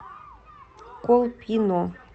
колпино